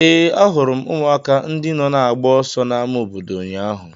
Ee, ahụrụ m ụmụaka ndị nọ na-agba ọsọ n'ámá obodo ụnyaahụ.